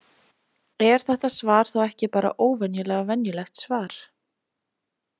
Er þetta svar þá ekki bara óvenjulega venjulegt svar?